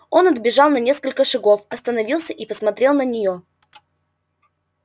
он отбежал на несколько шагов остановился и посмотрел на нее